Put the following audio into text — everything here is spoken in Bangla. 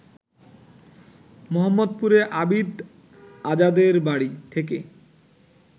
মোহাম্মদপুরে আবিদ আজাদের বাড়ি থেকে